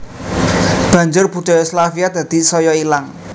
Banjur budaya Slavia dadi saya ilang